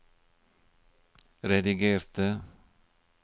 redigerte